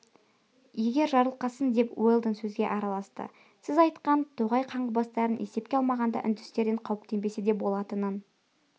егер жарылқасын деп уэлдон сөзге араласты сіз айтқан тоғай қаңғыбастарын есепке алмағанда үндістерден қауіптенбесе де болатынын